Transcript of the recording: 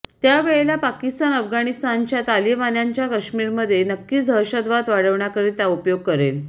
त्या वेळेला पाकिस्तान अफगाणिस्तानच्या तालिबान्यांचा कश्मीरमध्ये नक्कीच दहशतवाद वाढवण्याकरिता उपयोग करेल